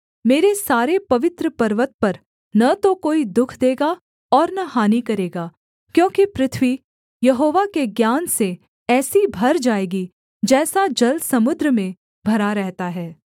मेरे सारे पवित्र पर्वत पर न तो कोई दुःख देगा और न हानि करेगा क्योंकि पृथ्वी यहोवा के ज्ञान से ऐसी भर जाएगी जैसा जल समुद्र में भरा रहता है